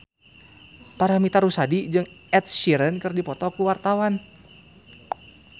Paramitha Rusady jeung Ed Sheeran keur dipoto ku wartawan